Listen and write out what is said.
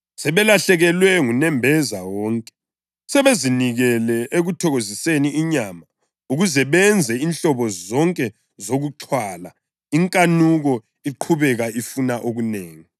Sebelahlekelwe ngunembeza wonke, sebezinikele ekuthokoziseni inyama ukuze benze inhlobo zonke zokuxhwala, inkanuko iqhubeka ifuna okunengi.